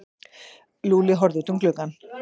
Lúlli horfði út um gluggann.